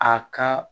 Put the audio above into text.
A ka